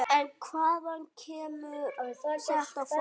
En hvaðan kemur þetta fólk?